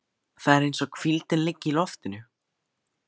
Það er eins og hvíldin liggi í loftinu.